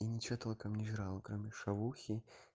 и ничего толком не жрал кроме шавухи